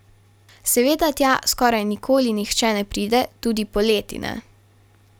Seveda tja skoraj nikoli nihče ne pride, tudi poleti ne.